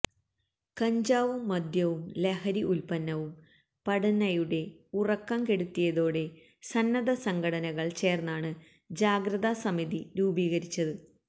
കഞ്ചാവും മദ്യവും ലഹരി ഉൽപന്നവും പടന്നയുടെ ഉറക്കം കെടുത്തിയതോടെ സന്നദ്ധ സംഘടനകൾ ചേർന്നാണ് ജാഗ്രത സമിതി രൂപീകരിച്ചത്